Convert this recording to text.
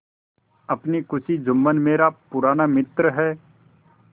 अपनी खुशी जुम्मन मेरा पुराना मित्र है